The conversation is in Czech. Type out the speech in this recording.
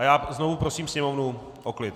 A já znovu prosím sněmovnu o klid!